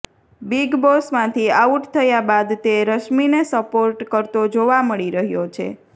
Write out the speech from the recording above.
big બોસમાંથી out થયા બાદ તે રશ્મિને સપોર્ટ કરતો જોવા મળી રહ્યો છે